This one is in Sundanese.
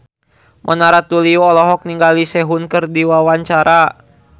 Mona Ratuliu olohok ningali Sehun keur diwawancara